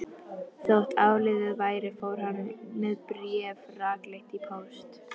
Þótt áliðið væri fór hann með bréfið rakleitt í póst.